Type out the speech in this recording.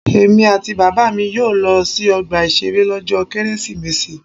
Èmi àti Bàbá mi yóò lọ sí ọgbà ìṣeré lọ́jọ́ Kérésìmesì.